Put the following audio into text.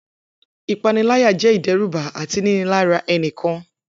Ipanilaya jẹ idẹruba ati ninilara ẹnikan.